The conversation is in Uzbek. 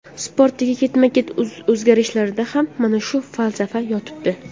Sportdagi ketma-ket o‘zgarishlarda ham mana shu falsafa yotibdi.